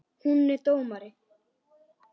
Hún er dómari.